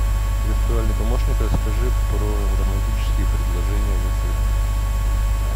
виртуальный помощник расскажи про романтические предложения в отеле